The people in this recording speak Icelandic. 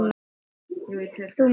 Þú meinar!